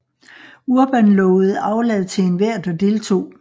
Urban lovede aflad til enhver der deltog